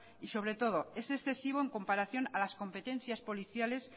y sobre todo es excesivo en comparación a las competencias policiales